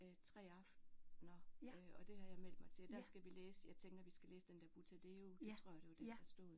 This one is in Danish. Øh 3 aftner øh og det har jeg meldt mig til der skal vi læse jeg tænker vi skal læse den der Buttadeo det tror jeg det var det der stod